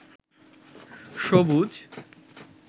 সবুজ